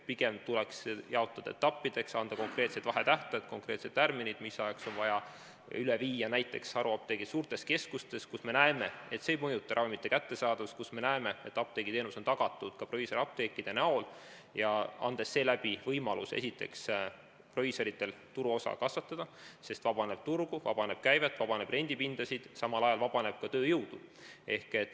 Pigem tuleks see aeg jaotada etappideks, anda konkreetsed vahetähtajad, konkreetsed tärminid, mis ajaks on vaja teha ära muudatused näiteks haruapteekide puhul suurtes keskustes, kus me näeme, et see ei mõjuta ravimite kättesaadavust, kuna apteegiteenus on tagatud ka proviisorapteekide abil, ning seeläbi antakse proviisoritele võimalus turuosa kasvatada, sest vabaneb turgu, vabaneb käivet, vabaneb rendipindasid, samal ajal vabaneb ka tööjõudu.